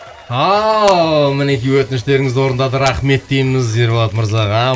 ал мінекей өтініштеріңізді орындады рахмет дейміз ерболат мырзаға